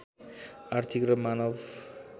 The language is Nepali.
आर्थिक र मानव